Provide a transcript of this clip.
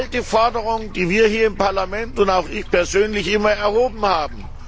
Dies ist eine alte Forderung, die wir hier im Parlament und auch ich persönlich immer erhoben haben.